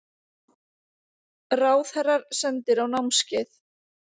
Ráðherrar sendir á námskeið